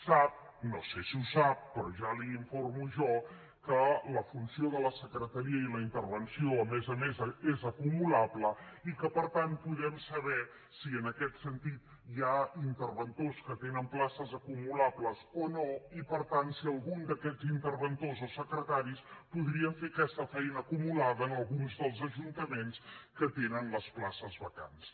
sap no sé si ho sap però ja l’informo jo que la funció de la secretaria i la intervenció a més a més és acumulable i que per tant podem saber si en aquest sentit hi ha interventors que tenen places acumulables o no i per tant si algun d’aquests interventors o secretaris podria fer aquesta feina acumulada en alguns dels ajuntaments que tenen les places vacants